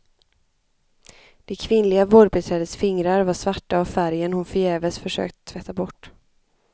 Det kvinnliga vårdbiträdets fingrar var svarta av färgen hon förgäves försökt tvätta bort.